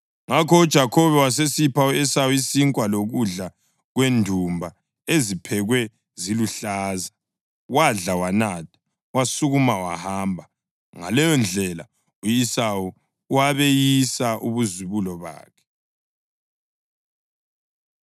Ngakho uJakhobe wasesipha u-Esawu isinkwa lokudla kwendumba eziphekwa ziluhlaza. Wadla, wanatha, wasukuma wahamba. Ngaleyondlela u-Esawu wabeyisa ubuzibulo bakhe.